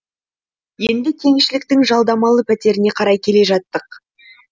енді кеңшіліктің жалдамалы пәтеріне қарай келе жаттық